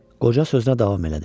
Qoca sözünə davam elədi.